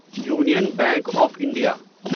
union bank of India